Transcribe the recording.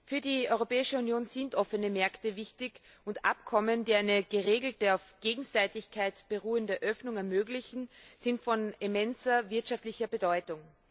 Für die Europäische Union sind offene Märkte wichtig, und Abkommen, die eine geregelte, auf Gegenseitigkeit beruhende Öffnung ermöglichen, sind von immenser wirtschaftlicher Bedeutung.